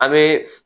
A bɛ